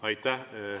Aitäh!